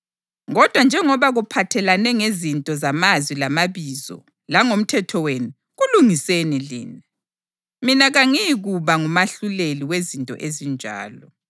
Kodwa njengoba kuphathelane ngezinto zamazwi lamabizo, langomthetho wenu; kulungiseni lina. Mina kangiyikuba ngumahluleli wezinto ezinjalo.”